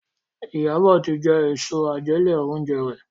Iyabo tí jé Èso àjẹlé-oúnjẹ rẹ.